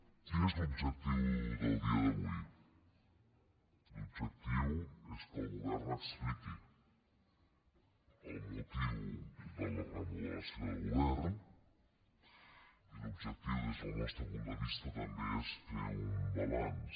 quin és l’objectiu del dia d’avui l’objectiu és que el govern expliqui el motiu de la remodelació de govern i l’objectiu des del nostre punt de vista també és fer un balanç